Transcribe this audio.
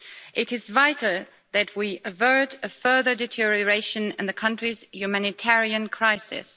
It is vital that we avert a further deterioration in the country's humanitarian crisis.